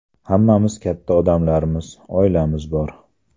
Hammamiz katta odamlarmiz, oilamiz bor.